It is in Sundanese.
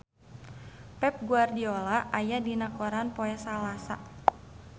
Pep Guardiola aya dina koran poe Salasa